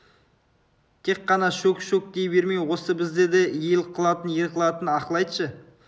тек қана шөк-шөк дей бермей осы бізді де ел қылатын ер қылатын ақыл айтшы